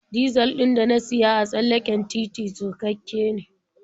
Dizal ɗin da na siya a tsallaken titi surkakke ne.